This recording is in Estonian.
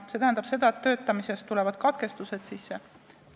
See tähendab seda, et töötamises tulevad katkestused sisse ...